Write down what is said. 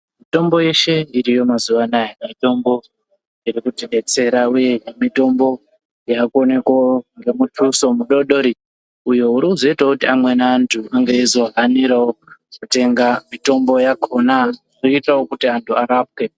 Mitombo yeshe iriyo mazuvaanaya mitombo irikuti detsera uye mitombo yakuonekawo ngemuthxuso mudoodori uyo urikuzoitawo kuti amweni antu ange eizohanira kutenga mitombo yacho irikuitawo kuti amweni antu arapwe .